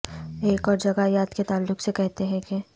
ایک اور جگہ یاد کے تعلق سے کہتے ہیں کہ